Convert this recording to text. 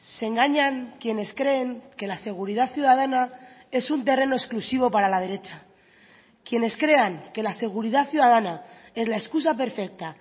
se engañan quienes creen que la seguridad ciudadana es un terreno exclusivo para la derecha quienes crean que la seguridad ciudadana es la excusa perfecta